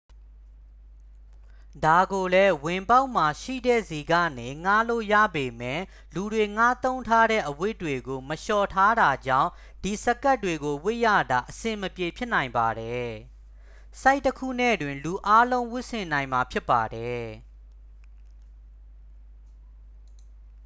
ဒါကိုလည်း ဝင်ပေါက်မှာရှိတဲ့ဆီကနေ ငှားလို့ရပေမယ့် လူတွေငှားသုံးထားတဲ့အဝတ်တွေကို မလျှော်ထားတာကြောင့် ဒီစကပ်တွေကိုဝတ်ရတာ အဆင်မပြေဖြစ်နိုင်ပါတယ် ဆိုဒ်တစ်ခုနဲ့တင် လူအားလုံးဝတ်ဆင်နိုင်မှာ ဖြစ်ပါတယ်